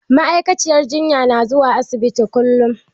Ma'aikaciyar jinyan na zuwa asibiti kullum